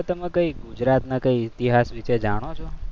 આપણે તમે કઈ ગુજરાતમાં કઈ ઇતિહાસ વિશે જાણો છો?